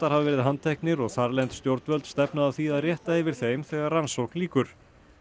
hafa verið handteknir og þarlend stjórnvöld stefna að því að rétta yfir þeim þegar rannsókn lýkur